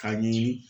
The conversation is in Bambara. Ka ɲini